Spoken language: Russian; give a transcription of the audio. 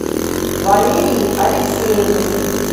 валерии алексеевне